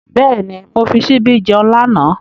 Bẹ́ẹ̀ni, mo fi ṣíbí jẹun lánàá.